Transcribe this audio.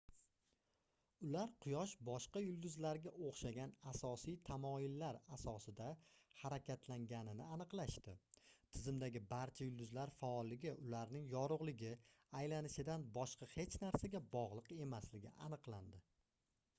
ular quyosh boshqa yulduzlarga oʻxshagan asosiy tamoyillar asosida harakatlanganini aniqlashdi tizimdagi barcha yulduzlar faolligi ularning yorugʻligi aylanishidan boshqa hech narsaga bogʻliq emasligi aniqlandi